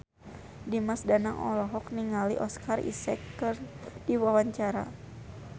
Dimas Danang olohok ningali Oscar Isaac keur diwawancara